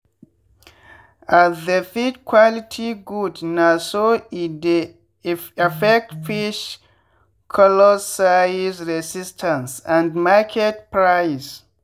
as the feed quality good na so e dey affect fish colorsizeresistance and market price.